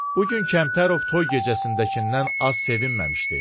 Bu gün Kəmtərov toy gecəsindəkindən az sevinməmişdi.